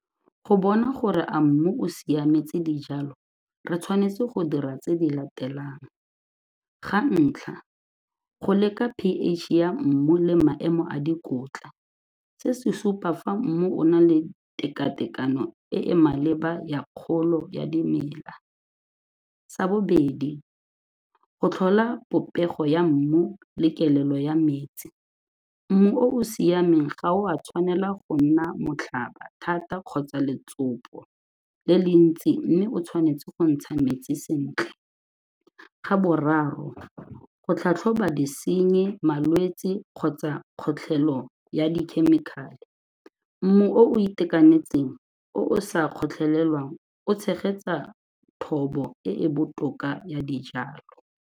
Go bona gore a mmu o siametse dijalo re tshwanetse go dira tse di latelang, ga ntlha go leka p_H ya mmu le maemo a dikotla. Se se supa fa mmu o na le tekatekano e e maleba ya kgolo ya dimela, sa bobedi go tlhola popego ya mmu le kelelo ya metsi. Mmu o o siameng ga o a tshwanela go nna motlhaba thata kgotsa letsopa le le ntsi mme o tshwanetse go ntsha metsi sentle. Ga boraro, go tlhatlhoba disenyi malwetsi kgotsa kgotlhelo ya dikhemikhale, mmu o itekanetseng o o sa kgotlhelelang o tshegetsa thobo e e botoka ya dijalo.